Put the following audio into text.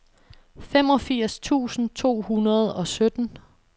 femogfirs tusind to hundrede og sytten